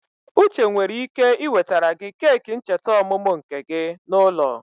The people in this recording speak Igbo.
Uche nwere ike ị wetere gị keki ncheta ọmụmụ nke gị n'ụlọ.